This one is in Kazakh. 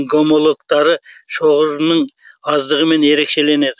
гомологтары шоғырының аздығымен ерекшеленеді